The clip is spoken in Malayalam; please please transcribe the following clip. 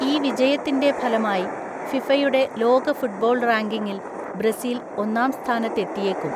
ഈ വിജയത്തിന്‍റെ ഫലമായി ഫിഫയുടെ ലോക ഫുട്ബോൾ റാങ്കിങ്ങിൽ ബ്രസീൽ ഒന്നാം സ്ഥാനത്തെത്തിയേക്കും.